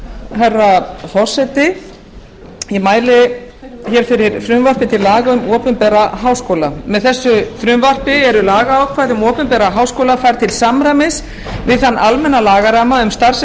herra forseti ég mæli hér fyrir frumvarpi til laga um opinbera háskóla með frumvarpi þessu eru lagaákvæði um opinberra háskóla færð til samræmis við þann almenna lagaramma um starfsemi